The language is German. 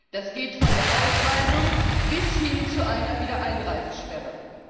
Das geht von der Ausweisung bis hin zu einer Wiedereinreisesperre.